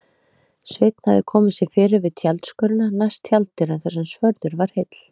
Sveinn hafði komið sér fyrir við tjaldskörina næst tjalddyrum þar sem svörður var heill.